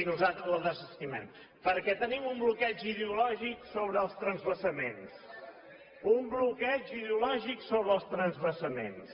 i nosaltres la desestimem perquè tenim un bloqueig ideològic sobre els transvasaments un bloqueig ideològic sobre els transvasaments